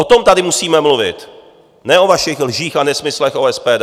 O tom tady musíme mluvit, ne o vašich lžích a nesmyslech o SPD.